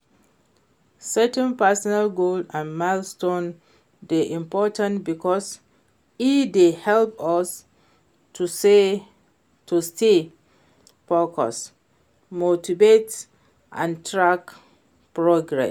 setting personal goals and milestones dey important because e dey help us to stay focused, motivated and track progress.